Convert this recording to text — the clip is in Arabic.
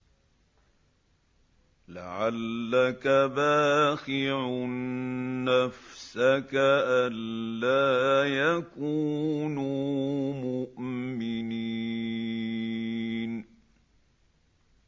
لَعَلَّكَ بَاخِعٌ نَّفْسَكَ أَلَّا يَكُونُوا مُؤْمِنِينَ